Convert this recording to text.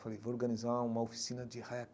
Falei, vou organizar uma oficina de rap,